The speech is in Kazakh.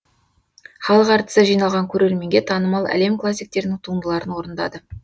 халық әртісі жиналған көрерменге танымал әлем классиктерінің туындыларын орындады